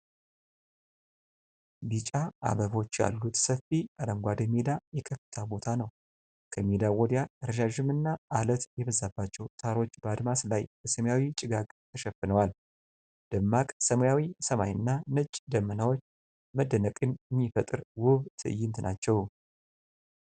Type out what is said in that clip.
ቢጫ አበቦች ያሉት ሰፊ አረንጓዴ ሜዳ የከፍታ ቦታ ነው። ከሜዳው ወዲያ ረዣዥምና ዐለት የበዛባቸው ተራሮች በአድማስ ላይ በሰማያዊ ጭጋግ ተሸፍነዋል። ደማቅ ሰማያዊ ሰማይና ነጭ ደመናዎች መደነቅን የሚፈጥር ውብ ትዕይንት ናቸው።